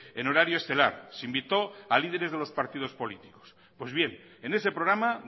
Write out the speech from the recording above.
en horario estelar se invitó a líderes de los partidos políticos pues bien en ese programa